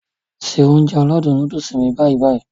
Se Ounjẹ aládùn nóódùsì mi báyì-báyì